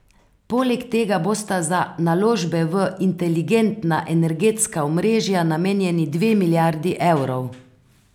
Poleg tega bosta za naložbe v inteligentna energetska omrežja namenjeni dve milijardi evrov.